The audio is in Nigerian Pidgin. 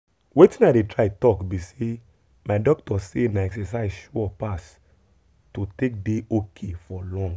wetin i dey try talk be say my doctor say na exercise sure pass to take dey ok for long.